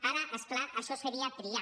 ara és clar això seria triar